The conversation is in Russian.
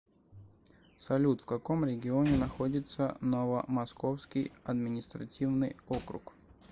салют в каком регионе находится новомосковский административный округ